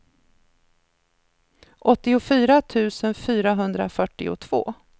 åttiofyra tusen fyrahundrafyrtiotvå